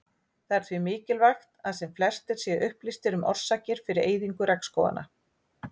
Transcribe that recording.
Það er því mikilvægt að sem flestir séu upplýstir um orsakir fyrir eyðingu regnskóganna.